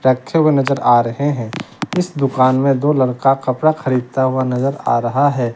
रखे हुए नजर आ रहे हैं इस दुकान में दो लड़का कपड़ा खरीदता हुआ नजर आ रहा है।